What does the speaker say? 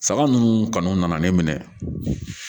Saga ninnu kɔni nana ne minɛ